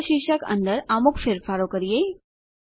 cost શીર્ષક અંદર અમુક ફેરફાર કરીએ